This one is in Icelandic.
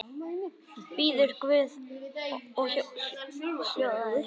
Biður guð í hljóði.